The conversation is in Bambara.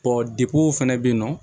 depu fɛnɛ be yen nɔ